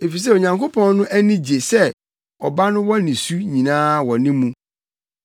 Efisɛ Onyankopɔn no ani gye sɛ Ɔba no wɔ ne su nyinaa wɔ ne mu.